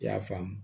I y'a faamu